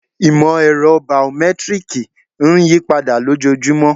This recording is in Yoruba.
Ìmọ̀-ẹ̀rọ̀ baomẹ́tírìkì ń yípadà lójojúmọ́